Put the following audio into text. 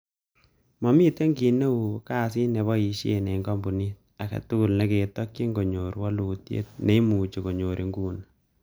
Momiten kit neu, kasit nemoboisie en komponit, agetugul ketokyin konyor woolutiet neimuche konyor inguni.